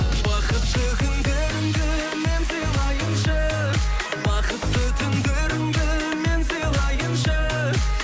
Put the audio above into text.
бақытты күндеріңді мен сыйлайыншы бақытты түндеріңді мен сыйлайыншы